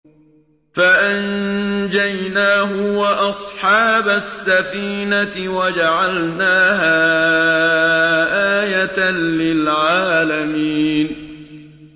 فَأَنجَيْنَاهُ وَأَصْحَابَ السَّفِينَةِ وَجَعَلْنَاهَا آيَةً لِّلْعَالَمِينَ